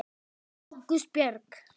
Ágústa Björg.